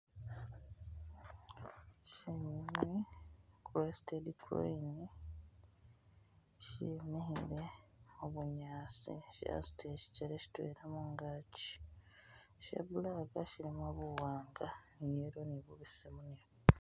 Shinyunyi, crested crane shimikhile habunyasi shasudile shigele shidwela mungagi sha black shilimo buwanga ni yellow ni bubesemu